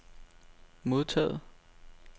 modtaget